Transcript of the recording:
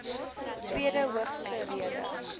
tweede hoogste rede